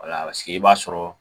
Walasigi i b'a sɔrɔ